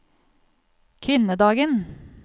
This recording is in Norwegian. kvinnedagen